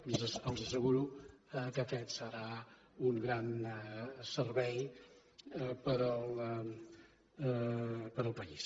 i els asseguro que aquest serà un gran servei per al país